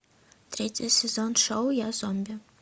третий сезон шоу я зомби